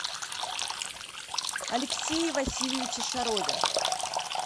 алексее васильевиче шарове